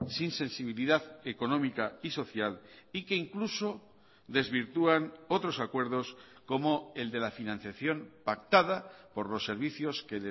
sin sensibilidad económica y social y que incluso desvirtúan otros acuerdos como el de la financiación pactada por los servicios que